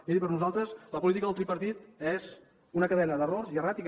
miri per nosaltres la política del tripartit és una cadena d’errors i erràtica